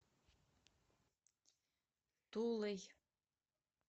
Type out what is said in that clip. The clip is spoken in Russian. тулой